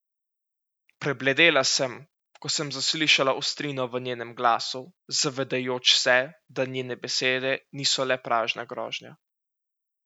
Prebledela sem, ko sem zaslišala ostrino v njenem glasu, zavedajoč se, da njene besede niso le prazna grožnja.